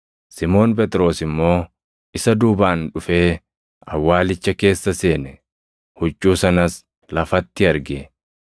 Simoon Phexros immoo isa duubaan dhufee awwaalicha keessa seene. Huccuu sanas lafatti arge;